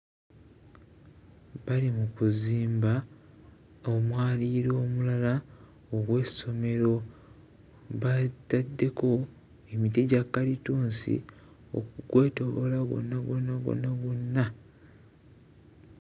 Bali mu kuzimba omwaliiro omulala ogw'essomero baataddeko emiti gya kkalitunsi okugwetooloola gwonna gwonna gwonna gwonna.